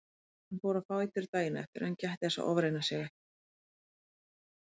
Hann fór á fætur daginn eftir en gætti þess að ofreyna sig ekki.